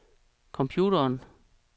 computeren